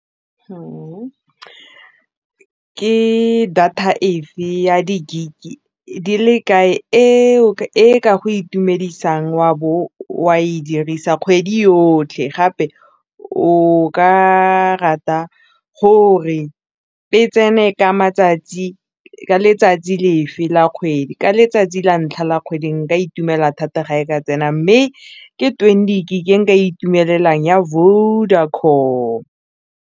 Ke data efe ya di gig di le kae e ka go itumedisang wa bo wa e dirisa kgwedi yotlhe gape o ka rata gore e tsene ka letsatsi lefe la kgwedi ka letsatsi la ntlha la kgwedi nka itumela thata ga e ka tsena mme ke twenty gin nka itumelela ya Vodacom.